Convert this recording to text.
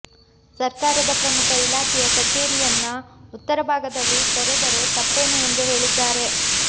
ಸರ್ಕಾರದ ಪ್ರಮುಖ ಇಲಾಖೆಯ ಕಛೇರಿಯನ್ನ ಉತ್ತರ ಭಾಗದಲ್ಲಿ ತೆರೆದರೆ ತಪ್ಪೇನು ಎಂದು ಹೇಳಿದ್ದಾರೆ